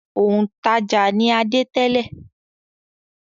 Òǹtajà ni Adé tẹ́lẹ̀.